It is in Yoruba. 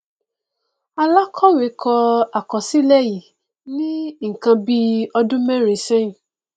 alakọwe kọ akọsilẹ yii ni nnkan bi ọdun mẹrin sẹyin